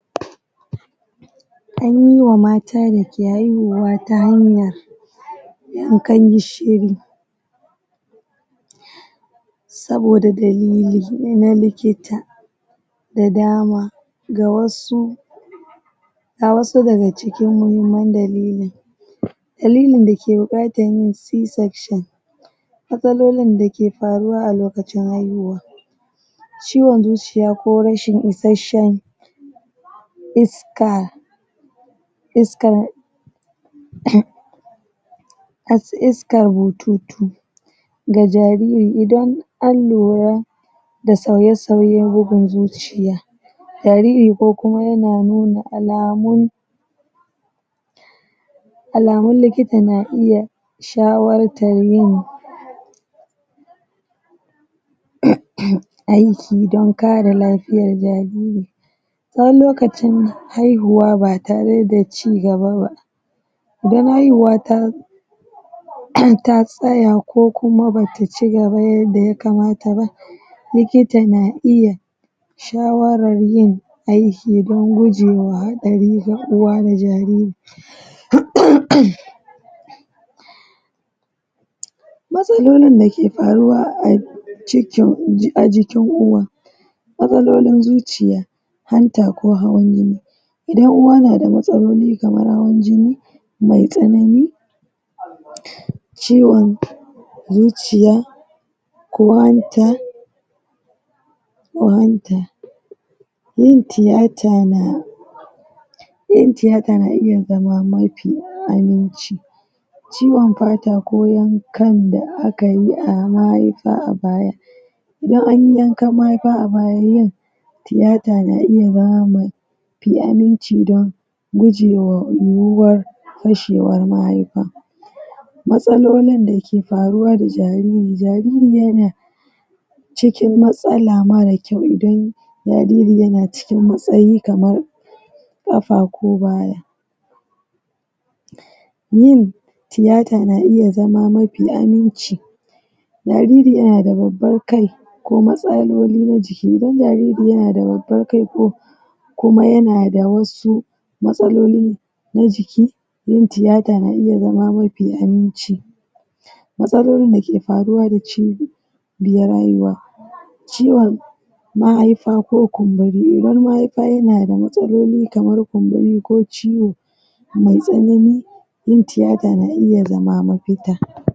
Mata da ke haihuwa ta hanyar yankan gishiri saboda dalili na likita da dama ga wasu ga wasu daga cikin muhimman dalilin dalilin da ke buƙatan yin c section matsalolin da ke faruwa a lokacin haihuwa ciwon zuciya ko rashin isashen iska a su iska bututu da jariri idan an lura da sauye sauyen bugun zuciya jariri ko kuma yana nuna alamun alamun likita na iya shawartan yin aiki don kare lafiyar jariri tsawon lokacin haihuwa ba tare da cigaba ba don haihuwa ta tsaya ko kuma ba ta cigaba yadda ya kamata ba likita na iya shawarar yin aiki don guje wa haɗari na uwa da jariri matsalolin da ke paruwa a jikin uwa matsalolin zuciya, hanta ko hawan jini, idan uwa na da matsaloli kamar hawan jini mai tsanani ciwon zuciya ko hanta ko hanta, yin tiyata na iya zama mafi aminci ciwon katako kan da aka yi a mahaifa a baya ko anyi yankan mahaifa amma yin tiyata na iya zama mai aminci don gujewa fashewar mahaifa matsalolin da ke paruwa da jariri, jariri ya na cikin matsala marar kyau idan jariri yana cikin matsayi kamar ƙafa ko baya yin tiyata na iya zama mafi aminci jariri yana da babbar kai ko matsaloli na jiki, jariri yana da babban kai ko kuma yana da wasu matsaloli na jiki, yin tiyata na iya zama mafi aminci matsalolin da ke paruwa da cirin mahaipa ko kumburarrun mahaipa yana da matsaloli kamar kumburi ko ciwo mai tsanani, yin tiyata na iya zama mapita.